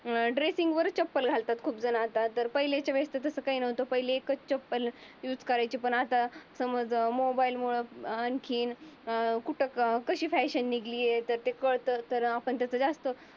अं dressing वर चप्पल घालतात. खूप जण आता तर पहिलीच्या वेळेस तसं काही नव्हतं. एकच चप्पल युज करायचे. पण आता समज मोबाईल मुळ आणखीन कुठं कशी फॅशन निघाली हे कळतं. तर आपण त्याचा जास्त